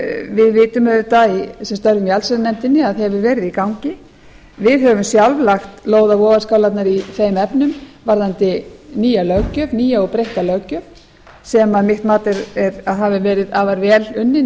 við vitum auðvitað sem störfum í allsherjarnefndinni að hefur verið í gangi við höfum sjálf lagt lóð á vogarskálarnar í þeim efnum varðandi nýja og breytta löggjöf sem mitt mat hafði verið afar vel unnin